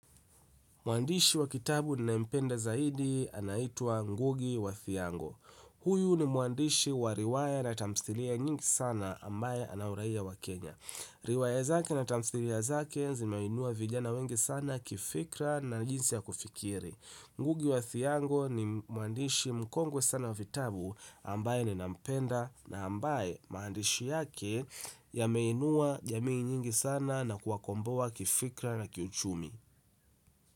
Mwandishi wa kitabu ninayempenda zaidi anaitwa Ngugi wa Thiongo. Huyu ni mwandishi wa riwaya na tamthilia nyingi sana ambaye ana uraiya wa Kenya. Riwaya zake na tamthilia zake zimeinua vijana wengi sana kifikra na jinsi ya kufikiri. Ngugi wa Thiongo ni mwandishi mkongwe sana wa vitabu ambaye ninampenda na ambaye maandishi yake yameinua jamii nyingi sana na kuwakomboa kifikra na kiuchumi.